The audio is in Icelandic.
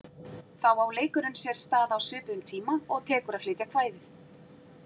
Þá á leikurinn sér stað á svipuðum tíma og tekur að flytja kvæðið.